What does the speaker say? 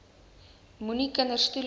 moenie kinders toelaat